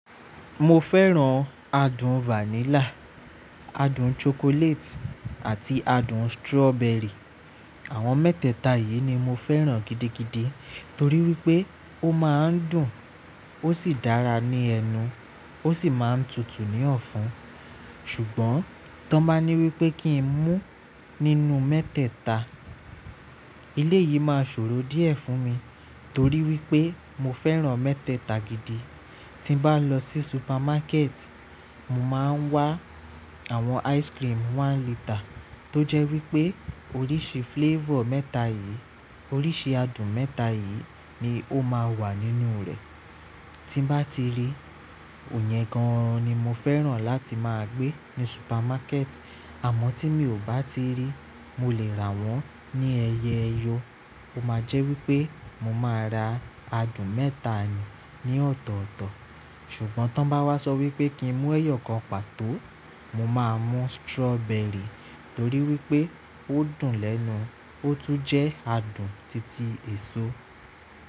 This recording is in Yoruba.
Mo fẹ́ràn adùn vanilla, adùn chocolate àti adùn strawberry. Àwọn mẹ́tẹ̀ẹ̀ta yìí ni mo fẹ́ràn gidigidi torí wípé ó máa ń dùn, ó sì dára ní ẹnu, ó sì máa ń tutù ní ọ̀fun. Ṣùgbọ́n tí wọ́n bá ní wípé kí n mú nínú mẹ́tẹ̀ẹ̀ta, elé yìí máa ṣòro díẹ̀ fún mi torí wípé mo fẹ́ràn mẹ́tẹ̀ẹ̀ta gidi. Tí bá lọ sí supermarket, mo máa ń wá àwọn ice cream one litre tó jẹ́ wípé oríṣi flavour mẹ́ta yìí, oríṣi adùn mẹ́ta yìí ni ó máa wà nínú rẹ̀. Tí bá ti rí, òyẹn gan-an ni mo fẹ́ràn láti máa gbé ní supermarket. Àmọ́ tí mi ò bá ti rí, mo lè rà wọ́n ní ẹyẹ ẹyọ. Ó máa jẹ́ wípé mo máa ra adùn mẹ́ta ni ní ọ̀'tọ̀ọ̀tọ̀. Ṣùgbọ́n tí wọ́n bá wá sọ wípé kí n mú ẹyọ kan pàtó, mo máa mú strawberry torí wípé ó dùn lẹ́nu, ó tún jẹ́ adùn titi èso.